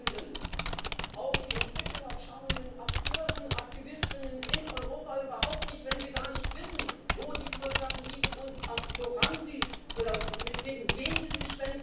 of it, I don't know. But you said twice that we need to come to a free trade deal. It's what European exporters want, and it is, absolutely, and it's what we want. Surely